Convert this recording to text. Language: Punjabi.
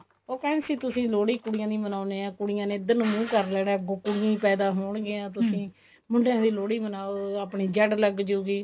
ਉਹ ਕਹਿੰਦੇ ਸੀ ਤੁਸੀਂ ਲੋਹੜੀ ਕੁੜੀਆਂ ਦੀ ਮਨਾਉਂਦੇ ਹੋ ਕੁੜੀਆਂ ਨੇ ਇੱਧਰ ਨੂੰ ਮੁੰਹ ਕਰ ਲੈਣਾ ਕੁੜੀਆਂ ਹੀ ਪੈਦਾ ਹੋਣਗੀਆਂ ਤੁਸੀਂ ਮੁੰਡਿਆਂ ਦੀ ਲੋਹੜੀ ਬਣਾਓ ਆਪਣੀ ਜੜ ਲੱਗਜੁਗੀ